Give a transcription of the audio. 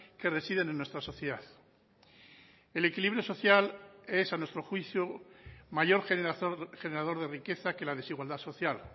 que residen en nuestra sociedad el equilibrio social es a nuestro juicio mayor generador de riqueza que la desigualdad social